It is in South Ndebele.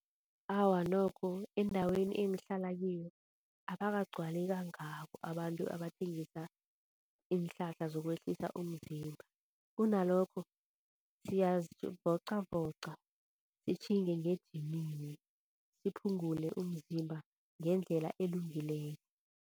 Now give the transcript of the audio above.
Awa nokho endaweni engihlala kiyo abakagcwali kangako abantu abathengisa iinhlahla zokwehlisa umzimba kunalokho siyazivocavoca. Sitjhinge ngejimini siphungule umzimba ngendlela elungileko.